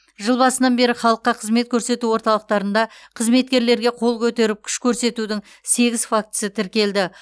жыл басынан бері халыққа қызмет көрсету орталықтарында қызметкерлерге қол көтеріп күш көрсетудің сегіз фактісі тіркелді